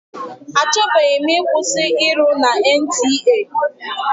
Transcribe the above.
A chọbeghị m ịkwụsị ịrụ na NTA.